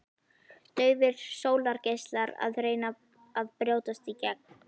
Daufir sólgeislar að reyna að brjótast í gegn.